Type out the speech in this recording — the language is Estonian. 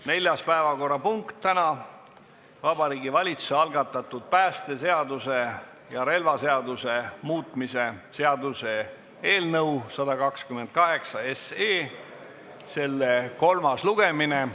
Neljas päevakorrapunkt on Vabariigi Valitsuse algatatud päästeseaduse ja relvaseaduse muutmise seaduse eelnõu 128 kolmas lugemine.